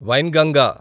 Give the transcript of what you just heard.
Wainganga